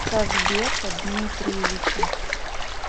казбека дмитриевича